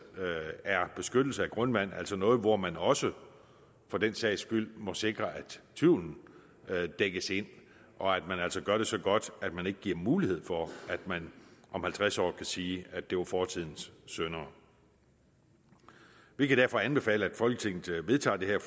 er beskyttelse af grundvand altså noget hvor man også for den sags skyld må sikre at tvivlen dækkes ind og at man altså gør det så godt at man ikke giver mulighed for at man om halvtreds år kan sige at det var fortidens synder vi kan derfor anbefale at folketinget vedtager det her